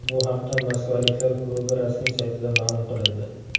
Bu haqda moskvaliklar klubi rasmiy saytida ma’lum qilindi .